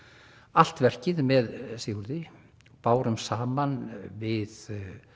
allt verkið með Sigurði bárum saman við